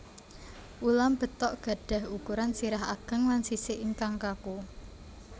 Ulam betok gadhah ukuran sirah ageng lan sisik ingkang kaku